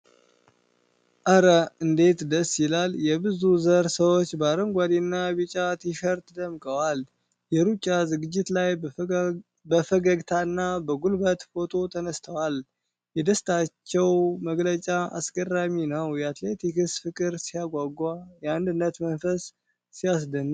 ኧረ እንዴት ደስ ይላል! የብዙ ዘር ሰዎች በአረንጓዴና ቢጫ ቲሸርት ደምቀዋል። የሩጫ ዝግጅት ላይ በፈገግታና በጉልበት ፎቶ ተነስተዋል። የደስታቸው መግለጫ አስገራሚ ነው! የአትሌቲክስ ፍቅር ሲያጓጓ! የአንድነት መንፈስ ሲያስደንቅ!